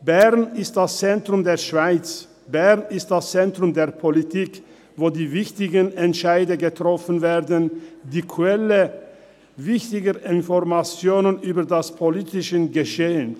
Bern ist das Zentrum der Schweiz, Bern ist das Zentrum der Politik, wo die wichtigen Entscheide getroffen werden, es ist die Quelle wichtiger Informationen über das politische Geschehen.